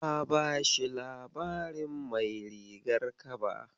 Na bashi labarin Mai rigar kaba.